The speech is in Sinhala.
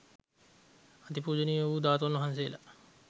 අති පූජනීය වූ ධාතූන් වහන්සේලා